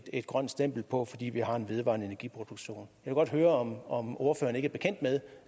et grønt stempel på fordi vi har en vedvarende energi produktion jeg vil godt høre om ordføreren ikke